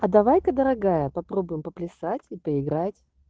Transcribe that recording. а давай-ка дорогая попробуем поплясать и поиграть